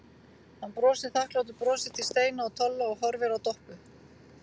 Hann brosir þakklátu brosi til Steina og Tolla og horfir á Doppu.